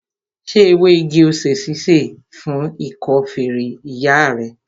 Ṣé ewé igi-osè ṣíṣe fún ikọ́ feré ìyá rẹ?